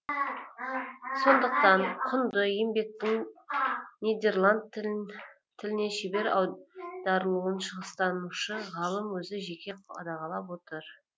сондықтан құнды еңбектің нидерланд тіліне шебер аударылуын шығыстанушы ғалым өзі жеке қадағалап отыр